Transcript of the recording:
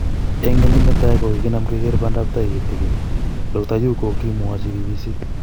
�Eng kenyit natai kogiginam keger pandap tai kitigin,� Dkt yu kogimwochi BBC